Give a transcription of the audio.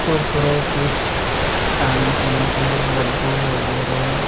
Kurkure chips खाने पीने के लड्डू वगैरा --